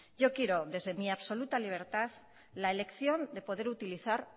yo quiero desde mi absoluta libertad la elección de poder utilizar